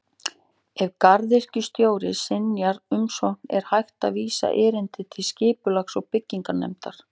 Ef garðyrkjustjóri synjar umsókn er hægt að vísa erindi til Skipulags- og bygginganefndar.